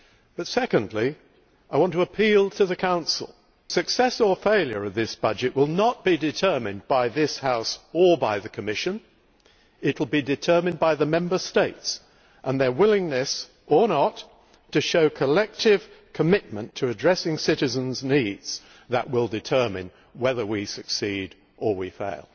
But secondly I want to appeal to the Council success or failure of this budget will not be determined by this house or by the Commission, it will be determined by the Member States and their willingness or not to show collective commitment to addressing citizens' needs that will determine whether we succeed or we fail.